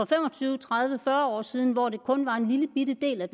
fem og tyve tredive fyrre år siden hvor det kun var en lillebitte del af